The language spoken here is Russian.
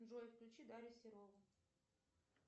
джой включи дарью серову